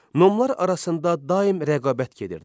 Nomlar arasında daim rəqabət gedirdi.